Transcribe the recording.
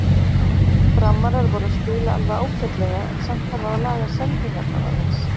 Framarar voru að spila alveg ágætlega en samt þarf að laga sendingarnar aðeins.